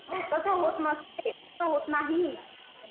तसं होत नसते. तसं होत नाही.